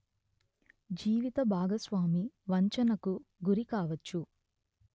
జీవిత భాగస్వామి వంచనకు గురి కావచ్చు